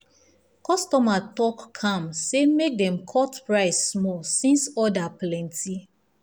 customer talk calm say make dem cut price small since order plenty.